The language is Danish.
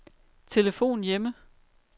telefon hjemme